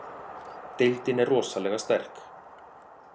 Deildin er rosalega sterk